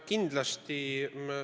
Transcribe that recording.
Kindlasti.